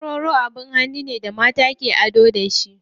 Warwaro abin hannun ne da mata ke ado da shi.